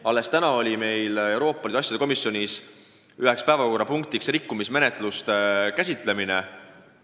Alles täna oli meil Euroopa Liidu asjade komisjonis üks päevakorrapunkt rikkumismenetluste käsitlemine.